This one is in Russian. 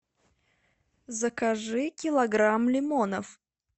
закажи килограмм лимонов